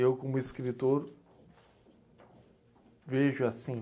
Eu, como escritor, vejo assim.